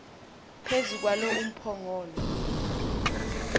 phezu kwalo umphongolo